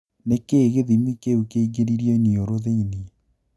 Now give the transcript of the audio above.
Nĩkĩĩ gĩthĩmi kĩũ kĩingĩrio iniũrũ thĩini?'